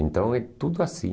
Então é tudo assim.